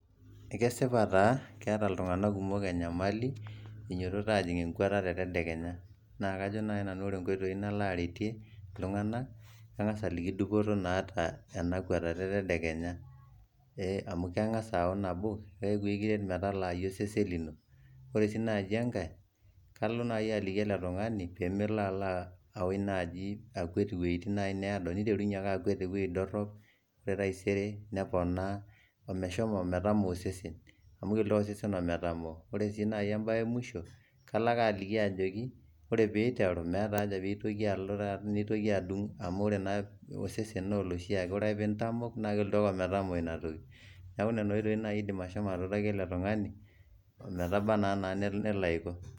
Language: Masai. ekesipa taa keeta iltunganak kumok enyamali einyiototo aapuo enkwatata e tedekenya, naa ore naaji nanu enaretie ,kang'as aliki dupoto naata ena kwatata e tedekenya, amu keng'as aaku nabo ikiret metalaai osesen lenye. kaliliki ele tung'ani pee meiterunye ake akwet iwueji dorop, ometamoo osesen .amu kelo ake osesen ometamoo. ore sii naai ebaye e musho. ore pee eiteru meeta haja pee ngas alo taata neitoki apal, amu ore osesen naa oloshi ake. ore ake pee intamok naa kelotu ake ometamok Ina toki.